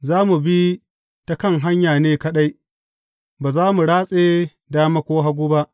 Za mu bi ta kan hanya ne kaɗai; ba za mu ratse dama ko hagu ba.